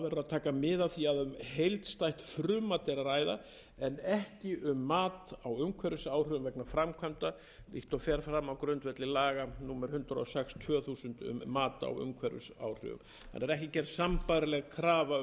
taka verður mið af því að um heildstætt frumvarp er að ræða en ekki um mat á umhverfisáhrifum vegna framkvæmda líkt og fara fram á grundvelli laga númer hundrað og sex tvö þúsund um mat á umhverfisáhrifum það er ekki gerð sambærileg krafa